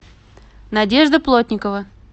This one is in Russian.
надежда плотникова